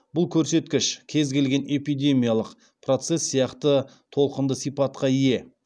бұл көрсеткіш кез келген эпидемиялық процесс сияқты толқынды сипатқа ие